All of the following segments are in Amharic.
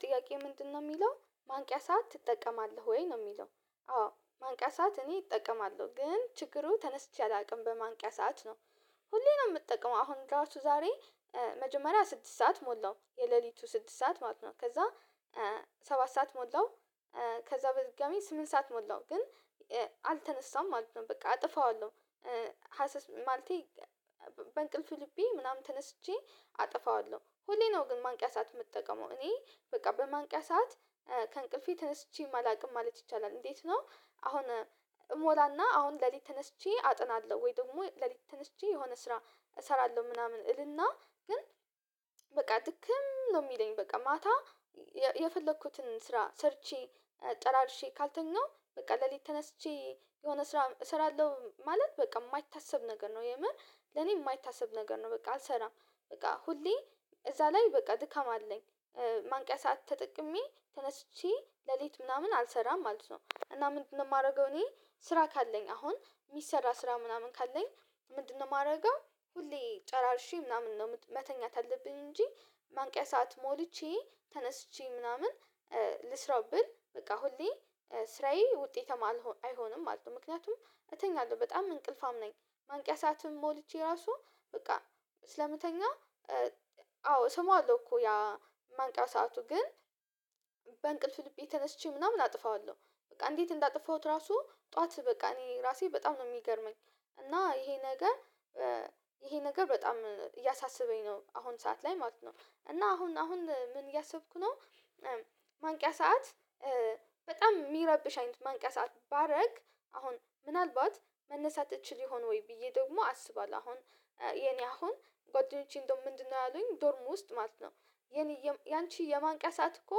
ጥያቄ ምንድነው የሚለው ማንቂያ ሰዓት ትጠቀማለህ ወይ ነው የሚለው? አዎ ማንቂያ ሰዓት እኔ እጠቀማለሁ ግን ችግሩ ተነስቼ አላውቅም በማንቂያ ሰዓት ነው። ሁሌ ነው የምጠቀመው አሁን ራሱ ዛሬ መጀመሪያ ስድስት ሰዓት ሞላው የሌሊቱ ስድስት ሰዓት ማለት ነው ከዛ ሰባት ሰዓት ሞላው። ከዛ በድጋሜ ስምንት ሰዓት ሞላው ግን አልተነሳሁም ማለት ነው በቃ አጠፋዋለሁ። ማለቴ በእንቅልፍ ልቤ ምናምን ተነስቼ አጠፋዋለሁ ሁሌ ነው ግን ማንቂያ ሰዓት የምጠቀመው እኔ በቃ በማንቂያ ሰዓት ከእንቅልፌ ተነስቼም አላውቅም ማለት ይቻላል። እንዴት ነው አሁን እሞላና አሁን ሌሊት ተነስቼ አጠናለሁ ወይ ደግሞ ሌሊት ተነስቼ የሆነ ስራ እሰራለሁ ምናምን እልና ግን በቃ ድክም ነው። የሚለኝ በቃ ማታ የፈለኩትን ስራ ሰርቼ ጨራርሼ ካልተኛሁ በቃ ለሌት ተነስቼ የሆነ ስራ እሰራለሁ ማለት በቃ የማይታሰብ ነገር ነው። የምር ለኔ የማይታሰብ ነገር ነው። በቃ አልሰራም በቃ ሁሌ እዛ ላይ በቃ ድካም አለኝ። ማንቂያ ሰዓት ተጠቅሜ ተነስቼ ሌሊት ምናምን አልሰራም ማለት ነው። እና ምንድነው የማደርገው እኔ ስራ ካለኝ አሁን የሚሰራ ስራ ምናምን ካለኝ ምንድነው ማረገው? ሁሌ ጨራርሼ ምናምን ነው መተኛት አለብኝ እንጂ ማንቂያ ሰዓት ሞልቼ ተነስቼ ምናምን ልስራው ብል በቃ ሁሌ ስራዬ ውጤታማ አይሆንም ማለት ነው። ምክንያቱም እተኛለሁ በጣም እንቅልፋም ነኝ። ማንቂያ ሰዓትም ሞልቼ ራሱ በቃ ስለምተኛ። አዎ እሰማዋለሁ እኮ ያ ማንቂያ ሰአቱን ግን በእንቅልፍ ልቤ ተነስቼ ምናምን አጥፋዋለሁ። በቃ እንዴት እንዳጥፋሁት ራሱ ጠዋት በቃ እኔ ራሴ በጣም ነው የሚገርመኝ። እና ይሄ ነገር ይሄ ነገር በጣም እያሳሰበኝ ነው አሁን ሰዓት ላይ ማለት ነው። እና አሁን አሁን ምን እያሰብኩ ነው? ማንቂያ ሰዓት በጣም የሚረብሽ አይነት ማንቂያ ሰዓት ባረግ አሁን ምናልባት መነሳት እችል ይሆን ወይ ብዬ ደግሞ አስባለሁ። አሁን የኔ አሁን ጓደኞቼ እንደው ምንድነው ያሉኝ ዶርም ውስጥ ማለት ነው። የኔ ያንቺ የማንቂያ ሰዓት እኮ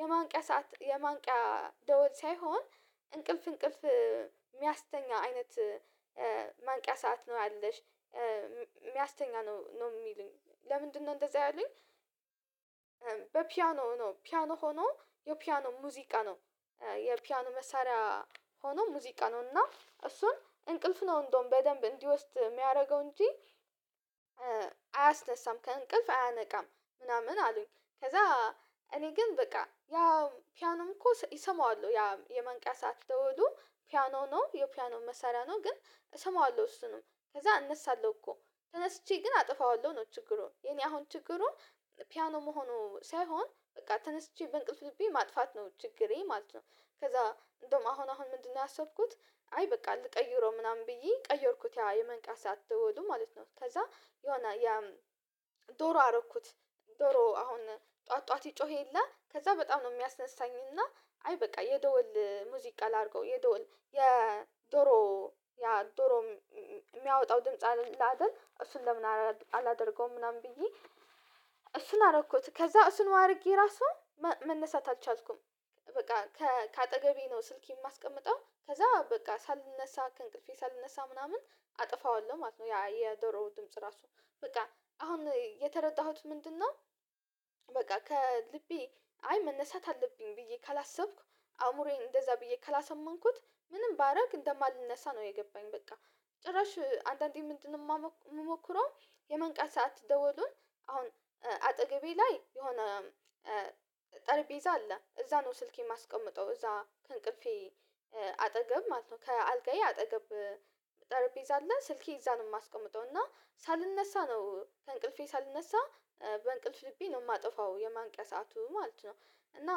የማንቂያ ሰዓት የማንቂያ ደወል ሳይሆን እንቅልፍ እንቅልፍ የሚያስተኛ አይነት። ማንቂያ ሰዓት ነው ያለሽ የሚያስተኛ ነው ነው የሚሉኝ ለምንድነው እንደዛ ያሉኝ? በፒያኖ ነው ፒያኖ ሆኖ የፒያኖ ሙዚቃ ነው። የፒያኖ መሳሪያ ሆኖ ሙዚቃ ነው እና እሱን እንቅልፍ ነው እንደውም በደንብ እንዲወስድ የሚያደርገው እንጂ። አያስነሳም ከእንቅልፍ አያነቃም ምናምን አሉኝ። ከዛ እኔ ግን በቃ ያ ፒያኖም እኮ እሰማዋለሁ ያ የመንቂያ ሰዓት ደወሉ ፒያኖ ነው የፒያኖ መሳሪያ ነው ግን እሰማዋለሁ እሱንም ከዛ አነሳለሁ እኮ። ተነስቼ ግን አጠፋዋለሁ ነው ችግሩን የኔ አሁን ችግሩን ፒያኖ መሆኑ ሳይሆን በቃ ተነስቼ በእንቅልፍ ልቤ ማጥፋት ነው ችግሬ ማለት ነው። ከዛ እንደውም አሁን አሁን ምንድነው ያሰብኩት? አይ በቃ ልቀይረው ምናምን ብዬ ቀየርኩት ያ የማንቂያ ሰዓት ደውሉ ማለት ነው ከዛ የሆነ ዶሮ አረኩት። ዶሮ አሁን ጠዋት ጠዋት ይጮህ የለ ከዛ በጣም ነው የሚያስነሳኝና። አይ በቃ የደወል ሙዚቃ ላድርገው የደወል የዶሮ ያ ዶሮ የሚያወጣው ድምጽ ላደርግ እሱን ለምን አላደርገውም ምናምን ብዬ? እሱን አረኩት ከዛ እሱን አድርጌ ራሱ መነሳት አልቻልኩም። በቃ ከአጠገቤ ነው ስልኬን የማስቀምጠው ከዛ በቃ ሳልነሳ ከእንቅልፌ ሳልነሳ ምናምን አጠፋዋለሁ ማለት ነው። ያ የደሮውን ድምጽ ራሱ በቃ አሁን የተረዳሁት ምንድነው? በቃ ከልቤ አይ መነሳት አለብኝ ብዬ ካላሰብኩ አእምሮዬን እንደዛ ብዬ ካላሳመንኩት ምንም ባረግ እንደማልነሳ ነው የገባኝ በቃ። ጭራሽ አንዳንዴ ምንድነው የምሞክረው? የማንቂያ ሰዓት ደወሉን አሁን አጠገቤ ላይ የሆነ ጠርቤዛ አለ እዛ ነው ስልኬን የማስቀምጠው እዛ ከእንቅልፌ አጠገብ ማለት ነው። ከአልጋዬ አጠገብ ጠርቤዛ አለ ስልኬን እዛ ነው የማስቀምጠው እና ሳልነሳ ነው ከእንቅልፌ ሳልነሳ በእንቅልፍ ልቤ ነው የማጠፋው የማንቂያ ሰዓቱ ማለት ነው። እና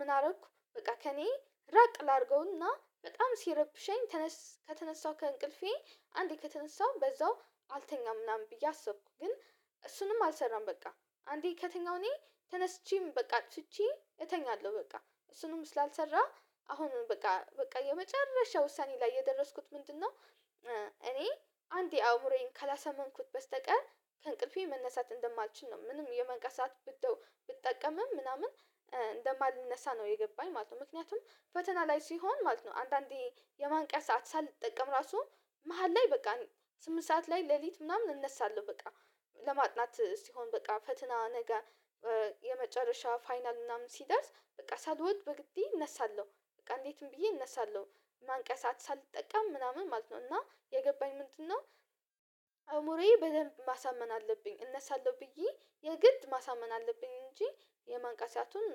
ምን አደረኩ በቃ ከእኔ ራቅ ላድርገውና በጣም ሲረብሸኝ ከተነሳሁክ እንቅልፌ አንዴ ከተነሳሁ በዛው አልተኛም ምናምን ብዬ አሰብኩ። ግን እሱንም አልሰራም። በቃ አንዴ ከተኛሁ እኔ ተነስቼም በቃ አጥቼ እተኛለሁ። በቃ እሱንም ስላልሰራ አሁንም በቃ በቃ የመጨረሻ ውሳኔ ላይ የደረስኩት ምንድነው? እኔ አንዴ አምሮዬን ካላሰማንኩት በስተቀር ከእንቅልፌ መነሳት እንደማልችል ነው ምንም የመንቀሳት ብትጠቀምም ምናምን እንደማልነሳ ነው የገባኝ ማለት ነው። ምክንያቱም ፈተና ላይ ሲሆን ማለት ነው አንዳንዴ የማንቂያ ሰዓት ሳልጠቀም ራሱ መሃል ላይ በቃ ስምንት ሰዓት ላይ ሌሊት ምናምን እነሳለሁ በቃ። ለማጥናት ሲሆን በቃ ፈትና ነገ የመጨረሻ ፋይናል ምናምን ሲደርስ በቃ ሳልወድ በግዴ እነሳለሁ በቃ እንዴትም ብዬ እነሳለሁ። ማንቂያ ሰዓት ሳልጠቃም ምናምን ማለት ነው እና የገባኝ ምንድነው? አእምሮዬ በደንብ ማሳመን አለብኝ እነሳለሁ ብዬ የግድ ማሳመን አለብኝ እንጂ የማንቂያ ሰአቱን